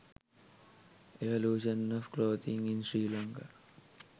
evolution of clothing in sri lanka